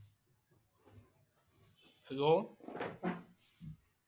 Hello